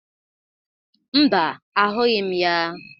Mba, ahụghị m ya.